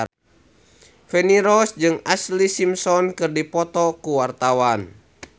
Feni Rose jeung Ashlee Simpson keur dipoto ku wartawan